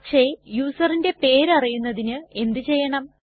പക്ഷെ userന്റെ പേര് അറിയുന്നതിന് എന്ത് ചെയ്യണം